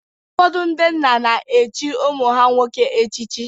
Ụfọdụ ndị nna na-echi ụmụ ha nwoke echichi.